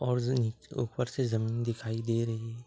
और ऊपर से जमीन दिखाई दे रही है।